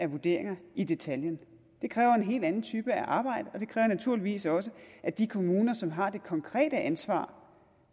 vurderinger i detaljen det kræver en helt anden type af arbejde og det kræver naturligvis også at de kommuner som har det konkrete ansvar